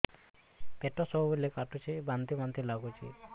ପେଟ ସବୁବେଳେ କାଟୁଚି ବାନ୍ତି ବାନ୍ତି ବି ଲାଗୁଛି